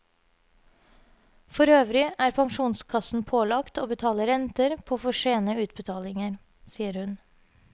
For øvrig er pensjonskassen pålagt å betale renter på for sene utbetalinger, sier hun.